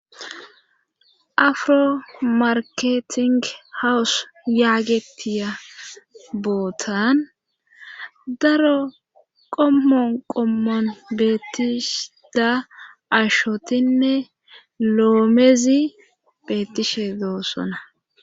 Afro marketing hawus yaagetiya bootan daro qommon qommon beettishshe diza ashotinne loomezi beettishe doossona